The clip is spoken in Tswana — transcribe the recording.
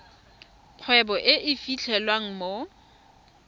kgwebo e e fitlhelwang mo